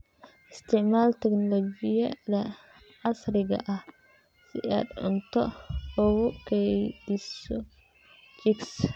Isticmaal tignoolajiyada casriga ah si aad cunto ugu kaydiso chicks.